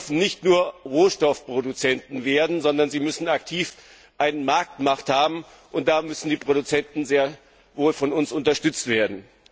Bauern dürfen nicht nur Rohstoffproduzenten werden, sondern sie müssen aktiv eine Marktmacht haben. Und da müssen die Produzenten sehr wohl von uns unterstützt werden.